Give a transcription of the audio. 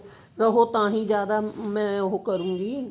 ਉਹ ਤਾਹੀਂ ਜਿਆਦਾ ਮੈਂ ਉਹ ਕਰੁਂਗੀ